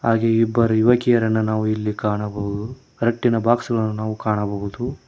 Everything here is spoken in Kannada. ಹಾಗೆ ಇಬ್ಬರು ಯುವಕಿಯಾರನ್ನ ನಾವು ಇಲ್ಲಿ ಕಾಣಬಹುದು ರಟ್ಟಿನ ಬೊಕ್ಸ್ ನಾವು ಕಾಣಬಹುದು.